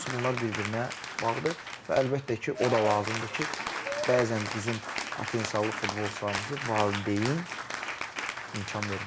Hamısı bunlar bir-birinə bağlıdır və əlbəttə ki, o da lazımdır ki, bəzən bizim potensiallı futbolçularımızı valideyn imkan vermir.